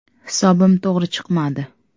Hisobim to‘g‘ri chiqmadi.